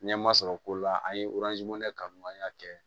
Ɲɛma sɔrɔ ko la an ye kanuya kɛ